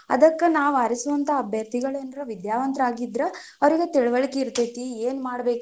ಅದಕ್ಕ ನಾವ್ ಆರಿಸುವಂತಹ ಅಭ್ಯರ್ಥಿಗಳು ಏನ್ರ ವಿದ್ಯಾವಂತರಾಗಿದ್ರ, ಅವ್ರಿಗೆ ತಿಳವಳಿಕೆ ಇರತೇತಿ ಏನ ಮಾಡಬೇಕು.